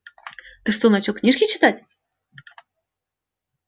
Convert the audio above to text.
ты что начал книжки читать